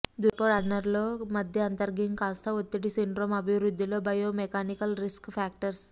దూరపు రన్నర్స్లో మధ్య అంతర్ఘంఘికాస్థ ఒత్తిడి సిండ్రోమ్ అభివృద్ధిలో బయోమెకానికల్ రిస్క్ ఫాక్టర్స్